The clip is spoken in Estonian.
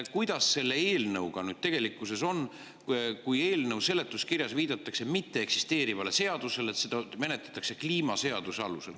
Kuidas selle eelnõuga tegelikkuses on, kui eelnõu seletuskirjas viidatakse mitteeksisteerivale seadusele – öeldakse, et seda menetletakse kliimaseaduse alusel?